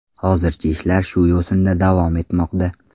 Hozircha ishlar shu yo‘sinda davom etmoqda”.